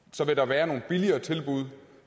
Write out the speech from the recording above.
så vil der være nogle billigere tilbud